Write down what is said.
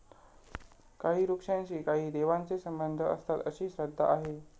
काही वृक्षांशी काही देवांचे संबंध असतात, अशी श्रद्धा आहे.